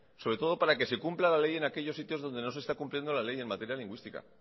sobre todo para que se cumpla la ley en aquellos sitios donde no se está cumpliendo la ley en materia lingüística